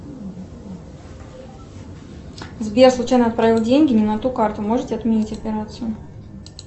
сбер случайно отправила деньги не на ту карту можете отменить операцию